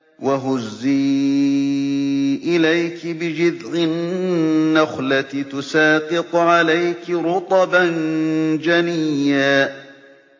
وَهُزِّي إِلَيْكِ بِجِذْعِ النَّخْلَةِ تُسَاقِطْ عَلَيْكِ رُطَبًا جَنِيًّا